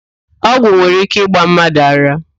Ọgwụíké nwere íké ịgba mmadụ ara